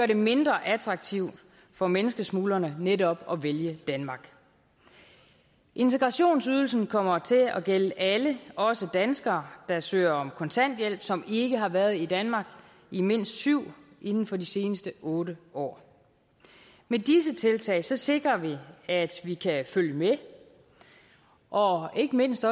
det mindre attraktivt for menneskesmuglerne netop at vælge danmark integrationsydelsen kommer til at gælde alle også danskere der søger om kontanthjælp og som ikke har været i danmark i mindst syv år inden for de seneste otte år med disse tiltag sikrer vi at vi kan følge med og ikke mindst